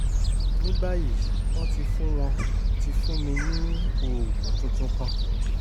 ní báyìí wọ́n ti fún wọ́n ti fún mi ní oògùn tuntun kan